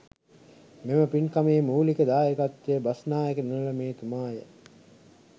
මෙම පින්කමේ මූලික දායකත්වය බස්නායක නිලමේතුමාය.